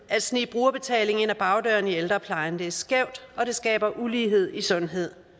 at snige brugerbetaling ind ad bagdøren i ældreplejen det er skævt og det skaber ulighed i sundhed